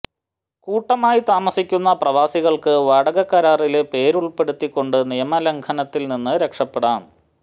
കൂട്ടമായി താമസിക്കുന്ന പ്രവാസികള്ക്ക് വാടകകരാറില് പേര് ഉള്പ്പെടുത്തി കൊണ്ട് നിയമലംഘനത്തില് നിന്ന് രക്ഷപ്പെടാം